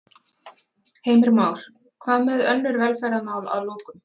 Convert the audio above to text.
Heimir Már: Hvað með önnur velferðarmál að lokum?